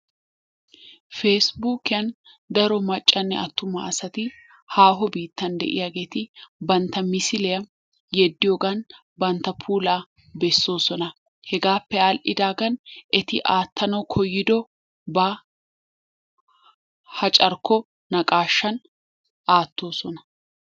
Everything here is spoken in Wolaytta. Peesibuukiyan daro maccanne attuma asati haaho biittan de'iyaageeti bantta misiliyaa yeddiyoogan bantta puula bessosona. Hegappe all"idaagan eti aattanaw koyyidooba ha carkko naqaashshan aattoosona.